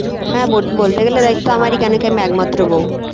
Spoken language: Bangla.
হ্যাঁ বল বলতে গেলে দায়িত্ব আমারই কেন কি আমি একমাত্র বউ